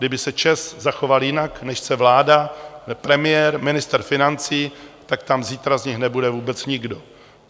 Kdyby se ČEZ zachoval jinak, než chce vláda, premiér, ministr financí, tak tam zítra z nich nebude vůbec nikdo.